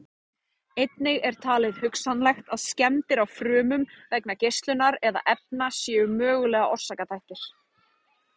Einnig er talið hugsanlegt að skemmdir á frumum vegna geislunar eða efna séu mögulegir orsakaþættir.